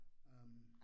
Øh